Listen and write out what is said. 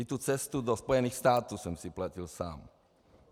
I tu cestu do Spojených států jsem si platil sám.